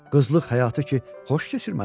Qızlıq həyatı ki, xoş keçir mənə.